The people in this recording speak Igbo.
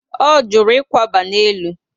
O juru ikwaba na élú